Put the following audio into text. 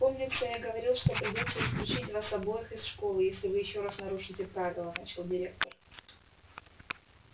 помнится я говорил что придётся исключить вас обоих из школы если вы ещё раз нарушите правила начал директор